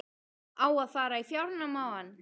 Á að fara í fjárnám á hann?